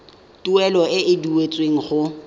tuelo e e duetsweng go